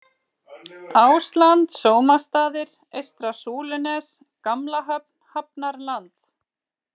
Ásland Sómastaðir, Eystra Súlunes, Gamla Höfn, Hafnarland